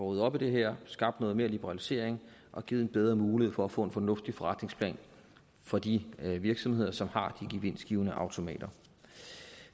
ryddet op i det her skabt noget mere liberalisering og givet en bedre mulighed for at få en fornuftig forretningsplan for de virksomheder som har de gevinstgivende automater